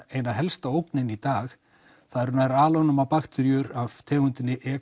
ein helsta ógnin í dag það eru bakteríur af tegundinni e